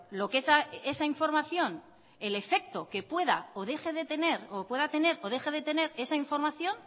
lo que esa información el efecto que pueda o deje de tener o pueda tener o deje de tener esa información